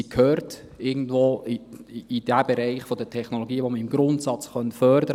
Sie gehört irgendwo in den Bereich der Technologien, die man im Grundsatz fördern könnte.